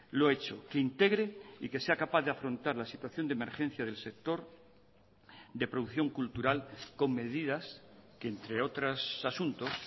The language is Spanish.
lo hecho que integre y que sea capaz de afrontar la situación de emergencia del sector de producción cultural con medidas que entre otros asuntos